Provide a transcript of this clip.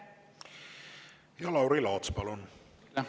Lauri Laats, palun!